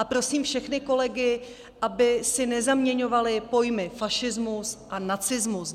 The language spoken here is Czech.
A prosím všechny kolegy, aby si nezaměňovali pojmy fašismus a nacismus.